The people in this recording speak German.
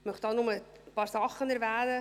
Ich möchte hier nur ein paar Dinge erwähnen: